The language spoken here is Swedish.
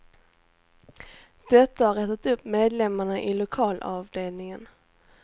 Detta har retat upp medlemmarna i lokalavdelningen.